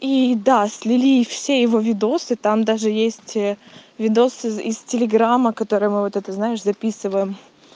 и да слили все его видео там даже есть видео из телеграмма которые мы вот это знаешь записываем